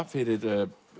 fyrir